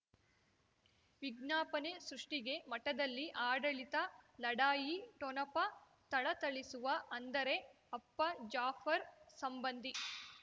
ವಿಜ್ಞಾಪನೆ ಸೃಷ್ಟಿಗೆ ಮಠದಲ್ಲಿ ಆಡಳಿತ ಲಢಾಯಿ ಠೊಣಪ ಥಳಥಳಿಸುವ ಅಂದರೆ ಅಪ್ಪ ಜಾಫರ್ ಸಂಬಂಧಿ